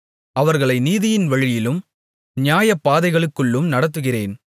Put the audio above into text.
அவர்களை நீதியின் வழியிலும் நியாயபாதைகளுக்குள்ளும் நடத்துகிறேன்